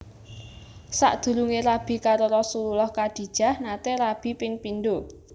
Sakdurunge rabi karo Rasulullah Khadijah nate rabi ping pindho